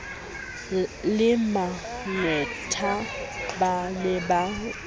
le maqwetha ba ne ba